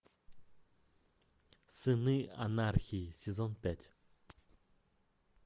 сыны анархии сезон пять